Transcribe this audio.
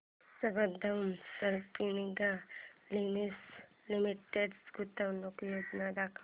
Sambandam spinning mills limited गुंतवणूक योजना दाखव